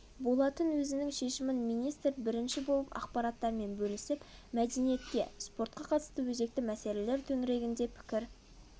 болатын өзінің шешімін министр бірінші болып ақпараттармен бөлісіп мәдениетке спортқа қатысты өзекті мәселелер төңірегінде пікір